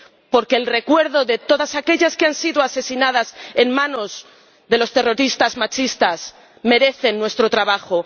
porque el recuerdo de todas aquellas que han sido asesinadas por los terroristas machistas merece nuestro trabajo